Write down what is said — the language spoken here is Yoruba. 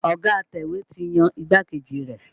Ọ̀ga atẹ̀wé ti yan igbákejì rẹ̀.